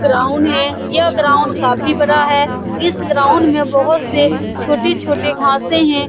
Ground है यह ground काफी बड़ा है इस ग्राउंड में बहुत से छोटे-छोटे घाँसे है।